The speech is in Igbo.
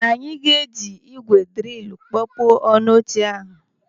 Anyị ga-eji ígwè dịrìlụ kpọpuo ọnụ n'oche ahụ.